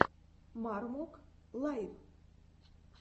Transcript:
мармок лайв